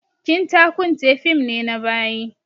Kinta kunte fim ne na bayi